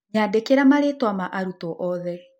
Nyandĩkĩra marĩĩtwa ma arutwo othe.